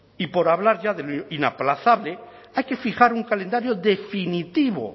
y por hablar ya de lo inaplazable hay que fijar un calendario definitivo